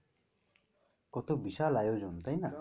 কত বিশাল আয়োজন তাই না?